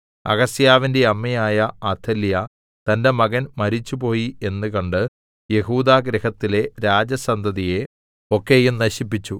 അഹസ്യാവിന്റെ അമ്മയായ അഥല്യാ തന്റെ മകൻ മരിച്ചുപോയി എന്നു കണ്ട് യെഹൂദാഗൃഹത്തിലെ രാജസന്തതിയെ ഒക്കെയും നശിപ്പിച്ചു